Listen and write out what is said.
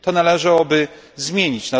To należałoby zmienić.